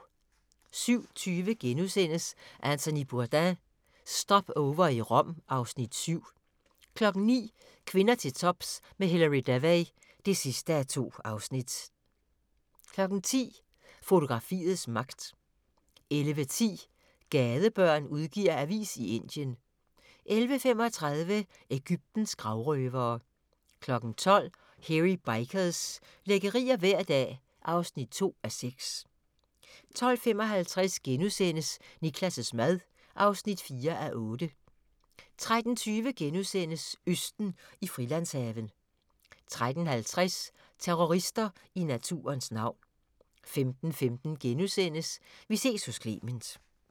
07:20: Anthony Bourdain – Stopover i Rom (Afs. 7)* 09:00: Kvinder til tops med Hilary Devey (2:2) 10:00: Fotografiets magt 11:10: Gadebørn udgiver avis i Indien 11:35: Egyptens gravrøvere 12:00: Hairy Bikers – lækkerier hver dag (2:6) 12:55: Niklas' mad (4:8)* 13:20: Østen i Frilandshaven * 13:50: Terrorister i naturens navn 15:15: Vi ses hos Clement *